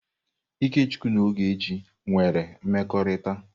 Ikechukwu na Ogechi nwere mmekọrịta.